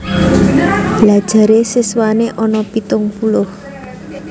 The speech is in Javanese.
Lha jare siswane ono pitung puluh?